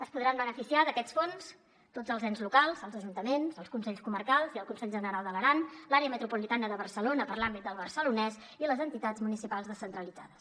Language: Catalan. es podran beneficiar d’aquests fons tots els ens locals els ajuntaments els consells comarcals i el consell general d’aran l’àrea metropolitana de barcelona per a l’àmbit del barcelonès i les entitats municipals descentralitzades